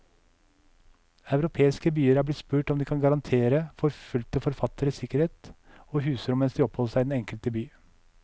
Europeiske byer er blitt spurt om de kan garantere forfulgte forfattere sikkerhet og husrom mens de oppholder seg i den enkelte by.